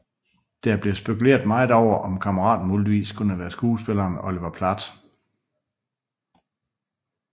Det er blevet spekuleret meget over at kammeraten muligvis kunne være skuespilleren Oliver Platt